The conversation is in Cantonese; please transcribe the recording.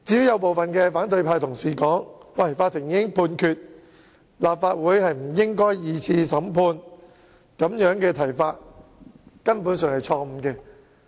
有部分反對派同事指出，既然法庭已經作出判決，立法會不應進行第二次審判，但我認為這個說法根本有問題。